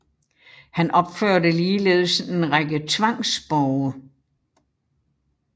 Han opførte ligeledes en række tvangsborge